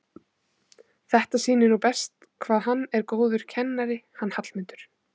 Þetta sýnir nú best hvað hann er góður kennari hann Hallmundur.